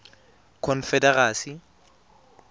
confederacy